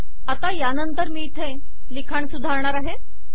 आता यानंतर मी येथील लिखाण सुधारणार आहे